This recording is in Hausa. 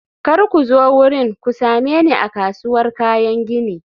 kar ku zo wurin, ku same ni a kasuwar kayan gini.